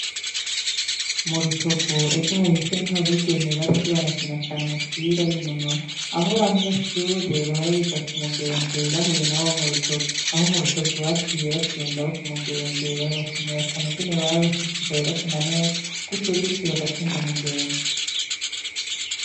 Murutovu ejo hahise niho abigeme bariko barakina cane umupira binonora ah'abanyeshure bahora biga kumugembe bahuye nabo murutovu. Abo murutovu baciye batsinda abo kumugembe barabashimira cane ingene bashishikaye bakina neza gutyogutyo bagatsinda mugembe.